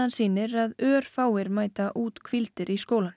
sýnir að örfáir mæta úthvíldir í skólann